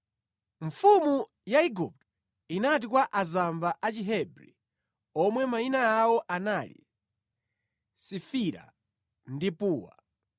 Mfumu ya Igupto inati kwa azamba a Chihebri omwe mayina awo anali Sifira ndi Puwa,